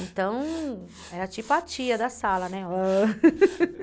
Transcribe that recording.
Então, era tipo a tia da sala, né?